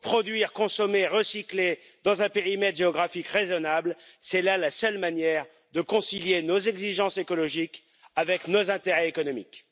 Produire, consommer, recycler dans un périmètre géographique raisonnable c'est là la seule manière de concilier nos exigences écologiques avec nos intérêts économiques.